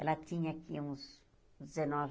Ela tinha aqui uns dezenove